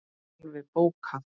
Alveg bókað!